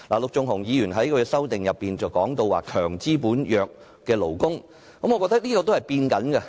陸頌雄議員在修正案中提到"強資本、弱勞工"，我覺得這點也正在改變中。